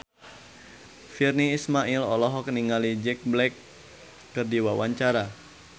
Virnie Ismail olohok ningali Jack Black keur diwawancara